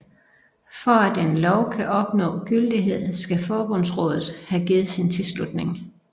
For at en lov kan opnå gyldighed skal Forbundsrådet have givet sin tilslutning